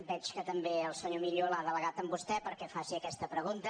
veig que també el senyor millo ha delegat en vostè perquè faci aquesta pregunta